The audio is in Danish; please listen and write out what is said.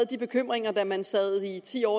de bekymringer da man i ti år